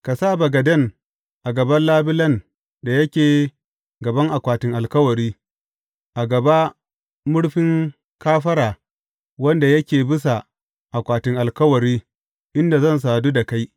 Ka sa bagaden a gaban labulen da yake gaban akwatin alkawari, a gaba murfin kafara wanda yake bisa akwatin alkawari, inda zan sadu da kai.